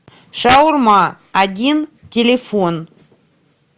шаурма один телефон